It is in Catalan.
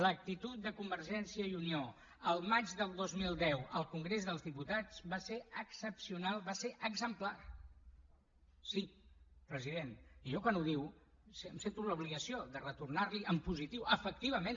l’actitud de convergència i unió el maig del dos mil deu al congrés dels diputats va ser excepcional va ser exemplar sí president i jo quan ho diu em sento amb l’obligació de retornarliho en positiu efectivament